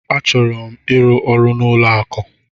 Achọrọ m ịrụ ọrụ n'ụlọ akụ.